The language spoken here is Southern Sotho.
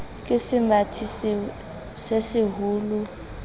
ke semathi se seholo o